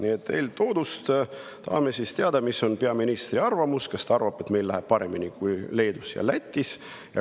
Eeltoodust tahame teada, mis on peaministri arvamus: kas ta arvab, et meil läheb paremini kui Leedus ja Lätis?